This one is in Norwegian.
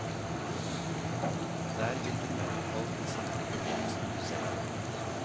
Der vil du møte folk med samme problem som du selv.